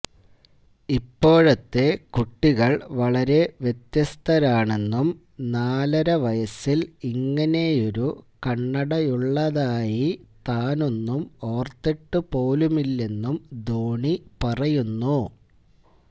ഇപ്പോഴത്തെ കുട്ടികള് വളരെ വ്യത്യസ്തരാണെന്നും നാലര വയസില് ഇങ്ങനെയൊരു കണ്ണടയുള്ളതായി താനൊന്നും ഓര്ത്തിട്ട് പോലുമില്ലെന്നും ധോണി പറയുന്നു